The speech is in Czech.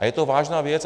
A je to vážná věc.